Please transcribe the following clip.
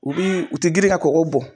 U bi u ti girin ka kɔgɔ bɔn.